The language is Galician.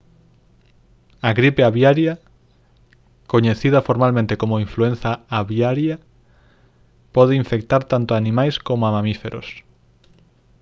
a gripe aviaria coñecida formalmente como influenza aviaria pode infectar tanto a animais coma a mamíferos